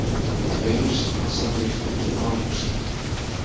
Tveir slasaðir eftir árekstur